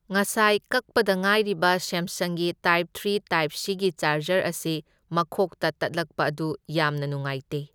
ꯉꯁꯥꯏ ꯀꯛꯄꯗ ꯉꯥꯏꯔꯤꯕ ꯁꯦꯝꯁꯪꯒꯤ ꯇꯥꯏꯞ ꯊ꯭ꯔꯤ ꯇꯥꯏꯞ ꯁꯤ ꯒꯤ ꯆꯥꯔꯖꯔ ꯑꯁꯤ ꯃꯈꯣꯛꯇ ꯇꯠꯂꯛꯄ ꯑꯗꯨ ꯌꯥꯝꯅ ꯅꯨꯉꯥꯏꯇꯦ꯫